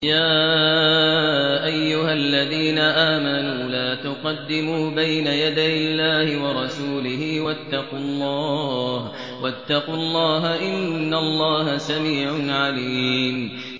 يَا أَيُّهَا الَّذِينَ آمَنُوا لَا تُقَدِّمُوا بَيْنَ يَدَيِ اللَّهِ وَرَسُولِهِ ۖ وَاتَّقُوا اللَّهَ ۚ إِنَّ اللَّهَ سَمِيعٌ عَلِيمٌ